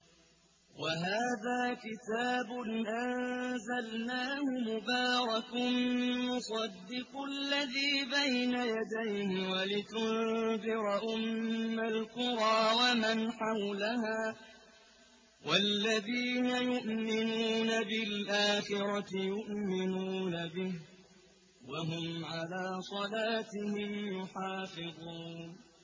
وَهَٰذَا كِتَابٌ أَنزَلْنَاهُ مُبَارَكٌ مُّصَدِّقُ الَّذِي بَيْنَ يَدَيْهِ وَلِتُنذِرَ أُمَّ الْقُرَىٰ وَمَنْ حَوْلَهَا ۚ وَالَّذِينَ يُؤْمِنُونَ بِالْآخِرَةِ يُؤْمِنُونَ بِهِ ۖ وَهُمْ عَلَىٰ صَلَاتِهِمْ يُحَافِظُونَ